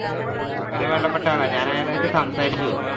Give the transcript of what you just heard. ആഹ് വളരെ വേണ്ടപ്പെട്ട ആളാണ് ഞാൻ അയാളായിട്ട് സംസാരിച്ചു